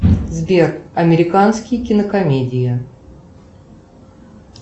сбер американские кинокомедии